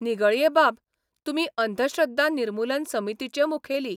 निगळ्येबाब, तुमी अंधश्रद्धा निर्मुलन समितीचे मुखेली.